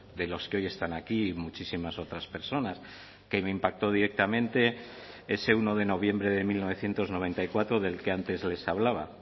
de los que hoy están aquí y muchísimas otras personas que me impactó directamente ese uno de noviembre de mil novecientos noventa y cuatro del que antes les hablaba